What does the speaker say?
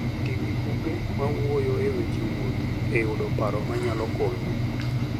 Ti gi buge mawuoyo e weche wuoth e yudo paro manyalo konyi.